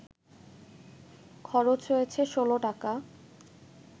খরচ হয়েছে ১৬ টাকা